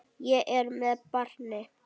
Ég er með barni.